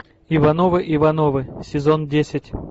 ивановы ивановы сезон десять